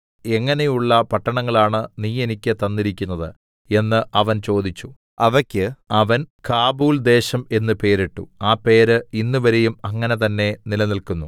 എങ്ങനെയുള്ള പട്ടണങ്ങളാണ് നീ എനിക്ക് തന്നിരിക്കുന്നത് എന്ന് അവൻ ചോദിച്ചു അവക്ക് അവൻ കാബൂൽദേശം എന്ന് പേരിട്ടു ആ പേര് ഇന്നുവരെയും അങ്ങനെ തന്നെ നിലനിൽക്കുന്നു